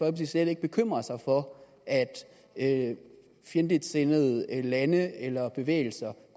slet ikke bekymrer sig for at fjendtligsindede lande eller bevægelser